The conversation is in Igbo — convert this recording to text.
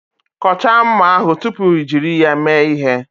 Kọchaa mma ahụ tupu i jiri ya mee ihe.